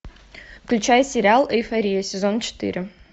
включай сериал эйфория сезон четыре